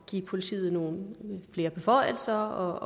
give politiet nogle flere beføjelser